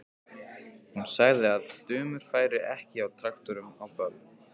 Hún sagði að dömur færu ekki á traktorum á böll.